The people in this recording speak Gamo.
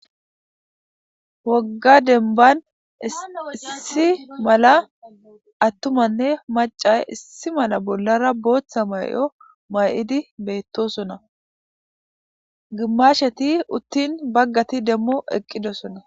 Wogga demban issi mala attumanne macay issi mala bollara booththa may7o may7idi beettosona gimasheti uttin baggati demmo eqqidosona